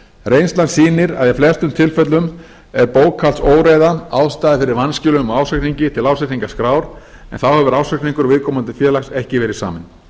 reynslan sýnir að í flestum tilfellum er bókhaldsóreiða ástæða fyrir vanskilum á ársreikningi til ársreikningaskrár en þá hefur ársreikningur viðkomandi félags ekki verið saminn